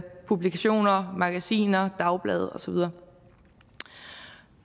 publikationer magasiner dagblade og så videre